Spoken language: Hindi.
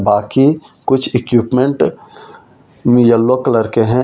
बाकी कुछ इक्विपमेंट येलो कलर के है और एक भी बना।